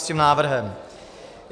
S tím návrhem.